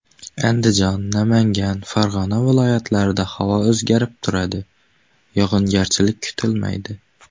Andijon, Namangan, Farg‘ona viloyatlarida havo o‘zgarib turadi, yog‘ingarchilik kutilmaydi.